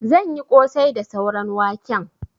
Zan yi ƙosai da sauran waken.